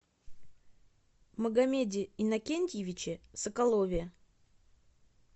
магомеде иннокентьевиче соколове